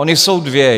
Ona jsou dvě.